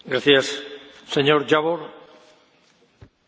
Elnök Úr, tisztelt Biztos Úr, tisztelt Képviselőtársaim!